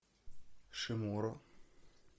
шиморо